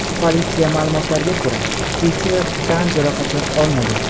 Politsiya ma’lumotlariga ko‘ra, uchuvchi tan jarohati olmagan.